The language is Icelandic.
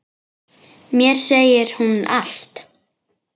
Mér segir hún allt: